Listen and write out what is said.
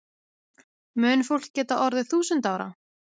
Mun fólk geta orðið þúsund ára?